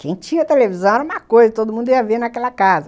Quem tinha televisão era uma coisa, todo mundo ia ver naquela casa.